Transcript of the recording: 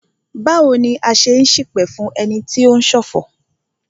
Báwo ni a ṣe n ṣipẹ̀ fún ẹni tí o ń ṣọ̀fọ̀?